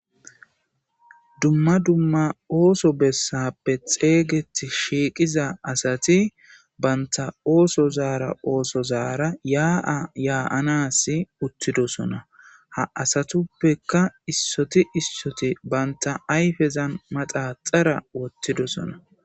Dumma dumma ooso bessappe xeeygeti shiiqiza asati banta ooso zaara ooso zaara yaa7a yaa7anasi uttidosona ha asatuppeka issoti issoti banta ayfezan maxaxara wottidosona.